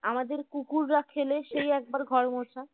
আমাদের কুকুররা খেলে সেই একবার ঘর মোছা